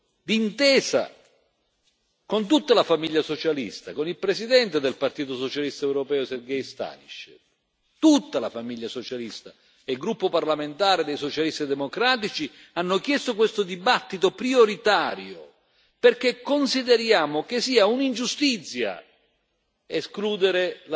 Il nostro gruppo ha chiesto, d'intesa con tutta la famiglia socialista, con il presidente del Partito Socialista Europeo Sergej Stanišev, tutta la famiglia socialista, e il gruppo parlamentare dei Socialisti e Democratici, hanno chiesto questo dibattito prioritario perché consideriamo che sia un'ingiustizia